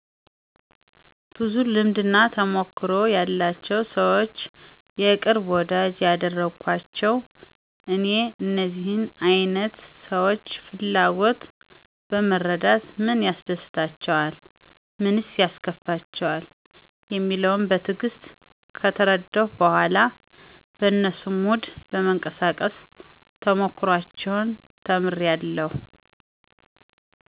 ብዙ ልምድና ተሞክሮ ያላቸውን ሰዎች የቅርብ ወዳጂ ያድርጓቸው። እኔ የእነዚህን አይነት ሰዎች ፍላጎት በመረዳት ምን ያስደስታቸዋል? ምንስ ያስከፋቸዋል? የሚለውን በትዕግስት ከተረዳሁ በኋላ በነሱ ሙድ በመንቀሳቀስ ተሞክሮአቸውን ተምሬአለሁ።